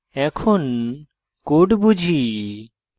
এখন code বুঝি